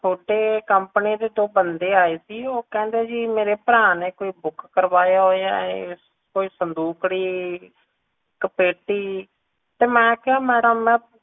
ਥੋੜੇ company ਤੋਂ ਦੋ ਬੰਦੇ ਆਏ ਸੀ ਕਹਿੰਦੇ ਮੇਰੇ ਭਰਾ ਨੇ ਕੋਈ book ਕਰਵਾਇਆ ਹੋਇਆ ਏ ਕੋਈ ਸੰਦੂਕੜੀ ਇੱਕ ਪੇਟੀ ਤੇ ਮੈਂ ਕਿਹਾ ਮੈਡਮ ਮੈਂ